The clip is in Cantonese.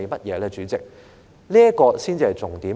代理主席，這才是重點。